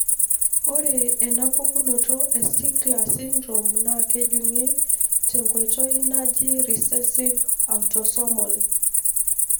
Ore ena pukunoto e Stickler syndrome na kejungi tenkoitoi naaji recessive autosomal.